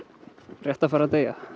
rétt að fara að deyja